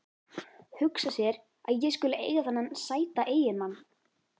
Hugsa sér að ég skuli eiga þennan sæta eiginmann.